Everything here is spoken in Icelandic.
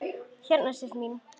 Hérna Sif mín.